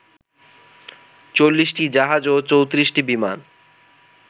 ৪০টি জাহাজ এবং ৩৪টি বিমান